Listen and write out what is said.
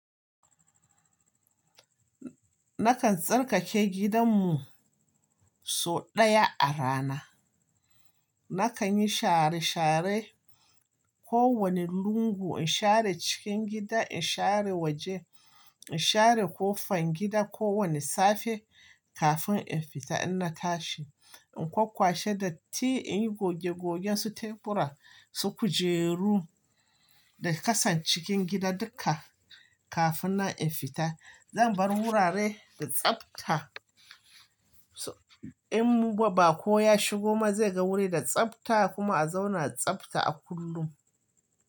Nakan tsarkake gidanmu sau ɗaya a rana. Nakan yi share share kowane lungu, in share cikin gida, in share waje, in share ƙo fangida, kowane safe kafin in fita in na tashi. In kwakkwashe datti, in yi goge gogen su tebura, su kujeru da ƙasan cikin gida duka kafin nan in fita. Zan bar wurare da tsabta, in baƙo ya shigo ma zai ga wuri da tsabta kuma a zauna tsabta a kullum.